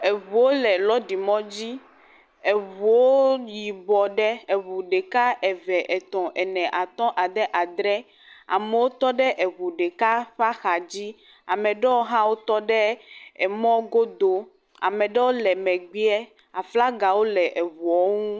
eʋuwo le lɔɖi mɔdzi eʋuwo yibɔ ɖe eʋu ɖeka eve etɔ̃ ene atɔ̃ adē adre amewo tɔɖe eʋu ɖeka ƒa xadzi ameɖɛwo hã tɔ ɖe mɔ godó meɖewo le mɛgbɛa aflagawo le ʋuɔwo ŋu